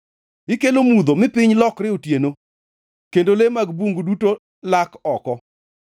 Ikelo mudho mi piny lokre otieno, kendo le mag bungu duto lak oko.